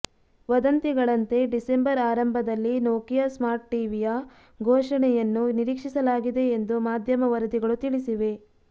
ವದಂತಿಗಳಂತೆ December ಆರಂಭದಲ್ಲಿ Nokia smart ಟಿವಿಯ ಘೋಷಣೆಯನ್ನು ನಿರೀಕ್ಷಿಸಲಾಗಿದೆ ಎಂದು ಮಾಧ್ಯಮ ವರದಿಗಳು ತಿಳಿಸಿವೆ